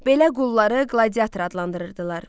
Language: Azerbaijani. Belə qulları qladiator adlandırırdılar.